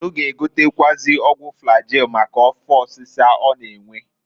Unu g'egotekwuazi ọgwụ flagil maka afọ ọsịsa ọ na-enwe.